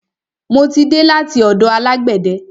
Mo ti dé láti ọ̀dọ̀ alágbẹ̀de.